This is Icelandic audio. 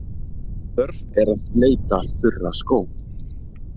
Þörf er að bleyta þurra skó.